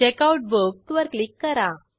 checkout book वर click करा